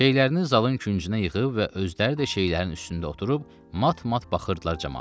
Şeylərini zalın küncünə yığıb və özləri də şeylərin üstündə oturub mat-mat baxırdılar camaata.